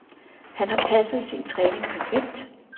Han har passet sin træning perfekt.